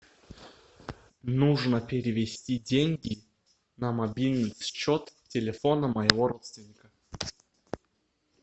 нужно перевести деньги на мобильный счет телефона моего родственника